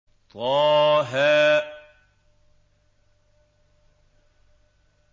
طه